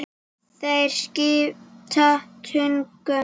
Þeir skipta tugum.